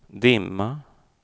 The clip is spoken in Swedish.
dimma